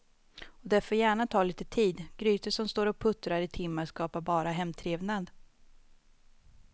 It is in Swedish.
Och det får gärna ta lite tid, grytor som står och puttrar i timmar skapar bara hemtrevnad.